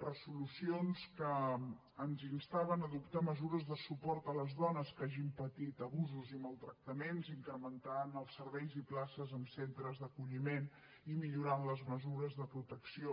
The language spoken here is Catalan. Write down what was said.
resolucions que ens instaven a adoptar mesures de suport a les dones que hagin patit abusos i maltractaments incrementant els serveis i places en centres d’acolliment i millorant les mesures de protecció